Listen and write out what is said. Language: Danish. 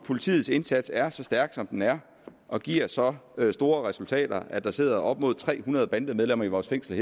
politiets indsats er så stærk som den er og giver så store resultater at der sidder op mod tre hundrede bandemedlemmer i vores fængsler